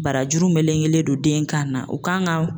Barajuru melekelen don den kan na o kan ka